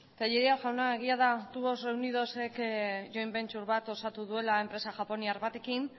tellería jauna egia da tubos reunidosek joint venture bat osatu duela enpresa japoniar batekin